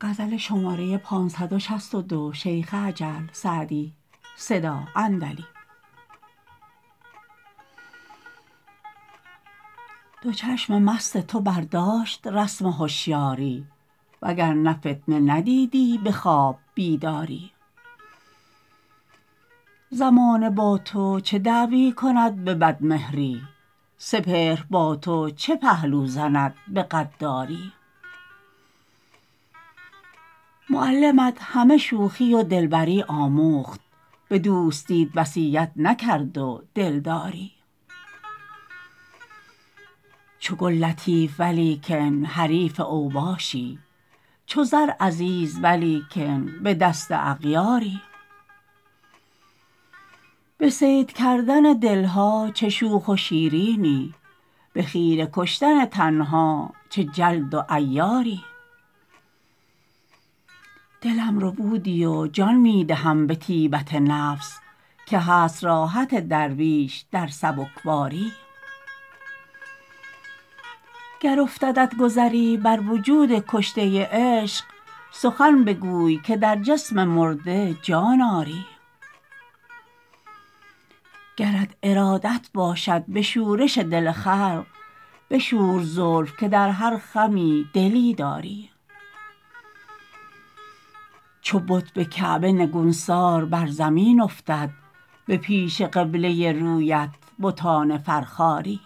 دو چشم مست تو برداشت رسم هشیاری و گر نه فتنه ندیدی به خواب بیداری زمانه با تو چه دعوی کند به بدمهری سپهر با تو چه پهلو زند به غداری معلمت همه شوخی و دلبری آموخت به دوستیت وصیت نکرد و دلداری چو گل لطیف ولیکن حریف اوباشی چو زر عزیز ولیکن به دست اغیاری به صید کردن دل ها چه شوخ و شیرینی به خیره کشتن تن ها چه جلد و عیاری دلم ربودی و جان می دهم به طیبت نفس که هست راحت درویش در سبکباری گر افتدت گذری بر وجود کشته عشق سخن بگوی که در جسم مرده جان آری گرت ارادت باشد به شورش دل خلق بشور زلف که در هر خمی دلی داری چو بت به کعبه نگونسار بر زمین افتد به پیش قبله رویت بتان فرخاری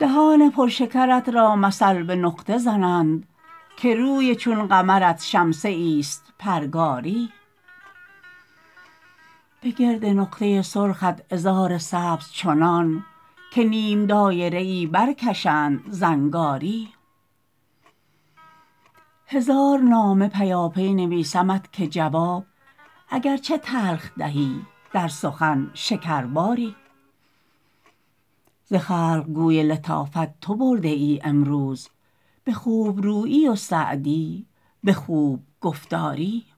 دهان پر شکرت را مثل به نقطه زنند که روی چون قمرت شمسه ایست پرگاری به گرد نقطه سرخت عذار سبز چنان که نیم دایره ای برکشند زنگاری هزار نامه پیاپی نویسمت که جواب اگر چه تلخ دهی در سخن شکرباری ز خلق گوی لطافت تو برده ای امروز به خوب رویی و سعدی به خوب گفتاری